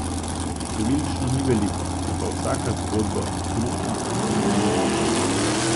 Številčno ni veliko, je pa vsaka zgodba okrutna in grozljiva.